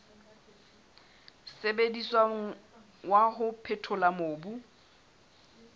sebediswang wa ho phethola mobu